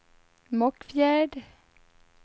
Mockfjärd